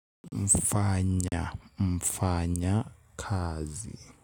Mfanya mfanya kazi.